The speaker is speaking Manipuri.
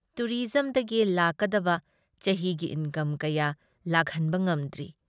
ꯇꯨꯔꯤꯖꯝꯗꯒꯤ ꯂꯥꯛꯀꯗꯕ ꯆꯍꯤꯒꯤ ꯏꯟꯀꯝ ꯀꯌꯥ ꯂꯥꯛꯍꯟꯕ ꯉꯝꯗ꯭ꯔꯤ꯫